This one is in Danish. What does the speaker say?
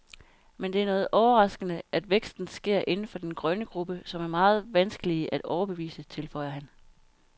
Men det er noget overraskende, at væksten sker inden for den grønne gruppe, som er meget vanskelige at overbevise, tilføjer han.